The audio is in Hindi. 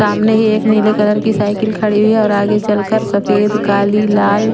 सामने ही एक नीले कलर की साइकिल खड़ी हुई है और आगे चलकर सफेद काली लाल--